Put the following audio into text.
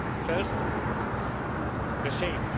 First, the shape.